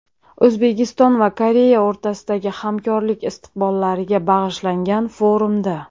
O‘zbekiston va Koreya o‘rtasidagi hamkorlik istiqbollariga bag‘ishlangan forumda.